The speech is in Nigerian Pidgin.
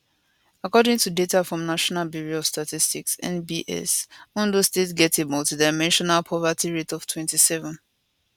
according to data from national bureau of statistics nbs ondo state get a multidimensional poverty rate of 27